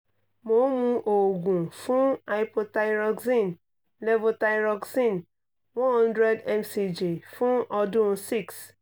mo n mu oogun fun hypothyroxene levothyroxene one hundred mcg fun ọdun six